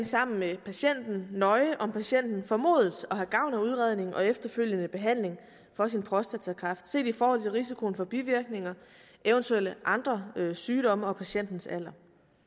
sammen med patienten nøje om patienten formodes at have gavn af udredningen og efterfølgende behandling for sin prostatakræft set i forhold til risikoen for bivirkninger eventuelle andre sygdomme og patientens alder